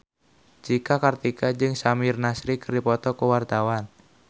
Cika Kartika jeung Samir Nasri keur dipoto ku wartawan